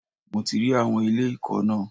Mo rí àwọn ilé ìkọ́ náà.